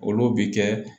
Olu bi kɛ